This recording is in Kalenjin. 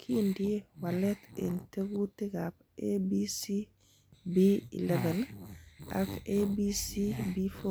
Kindie walet en tekutikab ABCB11 ak ABCB4